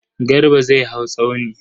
Garba zai hau tsauni.